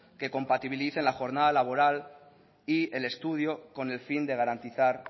que compatibilicen la jornada laboral y el estudio con el fin de garantizar